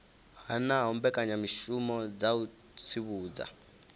hanaho mbekanyamishumo dza u tsivhudza